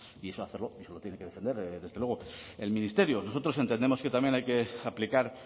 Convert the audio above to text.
y eso debe hacerlo eso lo tiene que defender desde luego el ministerio nosotros entendemos que también hay que aplicar